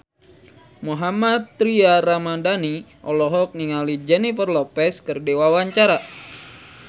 Mohammad Tria Ramadhani olohok ningali Jennifer Lopez keur diwawancara